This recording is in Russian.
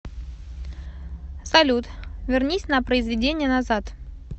салют вернись на произведение назад